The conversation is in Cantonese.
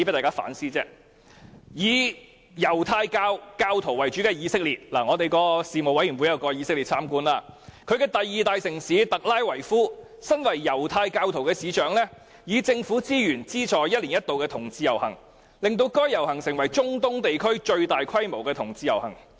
以猶太教為主的以色列——我們的事務委員會曾到以色列參觀——其第二大城市特拉維夫，身為猶太教徒的市長，以政府資源資助一年一度的同志遊行，令該遊行成為中東地區最大規模的同志盛事。